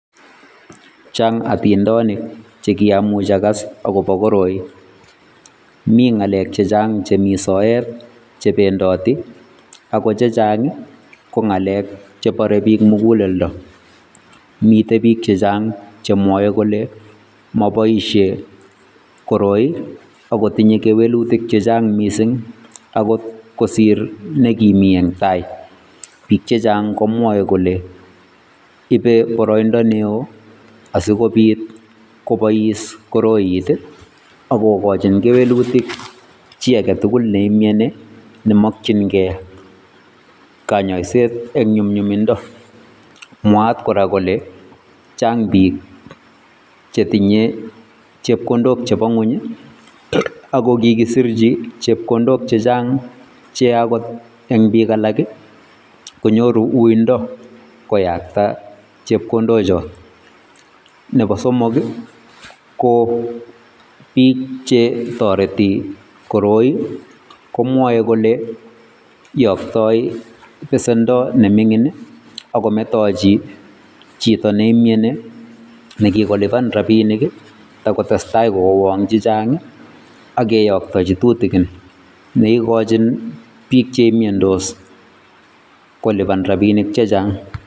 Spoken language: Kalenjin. Changatindonik chekiamuch agas agobo koroi. Mingalek chechang chemi soet chebendoti ako chechang ko ngalek chebare biik muguleldo. Mitei biik chechang chemwae kole maboisiei koroi akotinye kewelutik chechang mising angot kosir nekimii engtai biik chechang komwae kole ibei boroindo neoo asikobiit kobois koroi akokochin kewelutik chiaketugul neimyani nemakyingei kanyoiset eng nyumnyuminda. Mwaat kora kole chaang biik chetinye chepkondok chebongony akokikisirchi chepkondok chechang cheagot eng bik alak konyoru uindo koyakta chepkondochot. Nebo somoki ko biik che toreti koroi komwae kole yoktai besendo nemingin akometochi chito neimiani nekikoliban rabinik takotestai kowang chechang akeyaktachi tutigin neikachin biik cheimiandose koliban rabinik chechang.